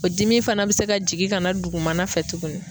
O dimi fana be se ka jigin ka na dugumana fɛ tuguni.